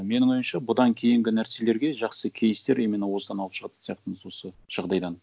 менің ойымша бұдан кейінгі нәрселерге жақсы кейстер именно осыдан алып шығатын сияқтымыз осы жағдайдан